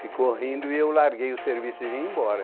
Ficou rindo e eu larguei o serviço e vim embora.